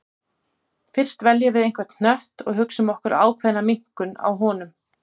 Fyrst veljum við einhvern hnött og hugsum okkur ákveðna minnkun á honum.